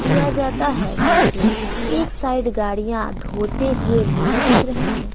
किया जाता है क्योंकि एक साइड गाड़ियां धोते हुए लोग दिख रहे हैं।